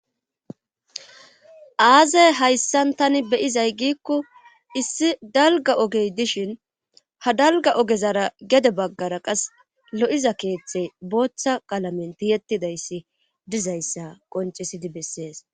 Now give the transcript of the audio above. aazey hayssan tani be'izay giikko issi dalga ogey dishin ha dalga ogezara gede baggara qas lo'iza keeththey booththa qalamenti ttihedayssi dizayssa qoncisidi bessees